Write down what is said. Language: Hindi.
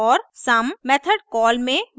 और सम मेथड कॉल में वापस प्रवेश करता है